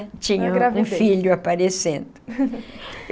Tinha. Uma gravidez. Um filho aparecendo.